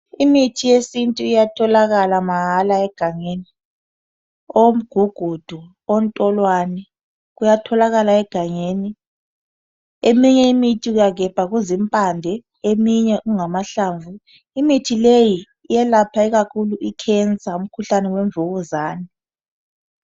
Imithi yesintu iyatholakala mahala egangeni. Omgugudu, ontolwane kuyatholakala egangeni. Eminye imithi uyagebha kuzimpande eminye kungama hlamvu. Imithi leyi iyelapha kakhulu i"cancer",umkhuhlane wemvukuzane.